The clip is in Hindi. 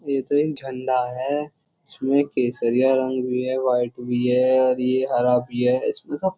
ये तो एक झंडा है इसमे केसरिया रंग भी है वाइट भी है और ये हरा भी है इसमे तो --